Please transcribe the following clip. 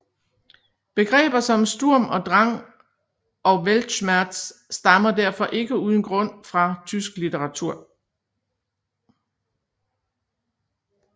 Begreber som Sturm und Drang og Weltschmerz stammer derfor ikke uden grund fra tysk litteratur